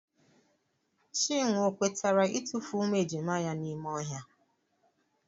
Chinwe ọ kwetere itufu ụmụ ejima ya n'ime ohia?